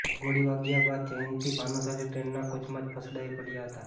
ગોળી વાગ્યા બાદ જયંતિ ભાનુશાલી ટ્રેનના કોચમાં જ ફસડાઈ પડ્યા હતા